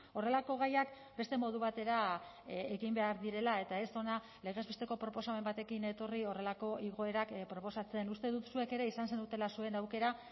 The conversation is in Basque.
horrelako gaiak beste modu batera egin behar direla eta ez hona legez besteko proposamen batekin etorri horrelako igoerak proposatzen uste dut zuek ere izan zenutela zuen aukera